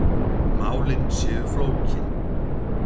Málin séu flókin.